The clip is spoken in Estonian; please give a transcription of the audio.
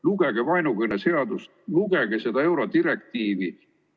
Lugege vaenukõne seadust, lugege seda eurodirektiivi.